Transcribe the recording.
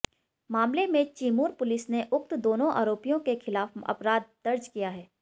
मामले में चिमूर पुलिस ने उक्त दोनों आरोपियों के खिलाफ अपराध दर्ज किया है